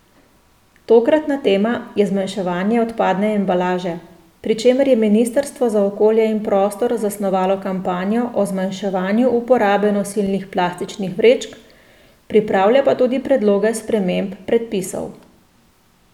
Tokratna tema je zmanjševanje odpadne embalaže, pri čemer je ministrstvo za okolje in prostor zasnovalo kampanjo o zmanjševanju uporabe nosilnih plastičnih vrečk, pripravlja pa tudi predloge sprememb predpisov.